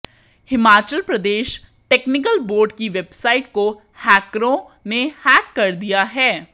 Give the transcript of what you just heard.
Himachal Pradesh technical board की website को हैकरों ने हैक कर दिया है